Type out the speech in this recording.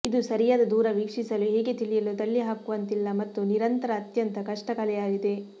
ಇದು ಸರಿಯಾದ ದೂರ ವೀಕ್ಷಿಸಲು ಹೇಗೆ ತಿಳಿಯಲು ತಳ್ಳಿಹಾಕುವಂತಿಲ್ಲ ಮತ್ತು ನಿರಂತರ ಅತ್ಯಂತ ಕಷ್ಟ ಕಲೆಯಾಗಿದೆ